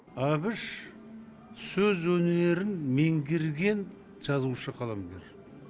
әбіш сөз өнерін меңгерген жазушы қаламгер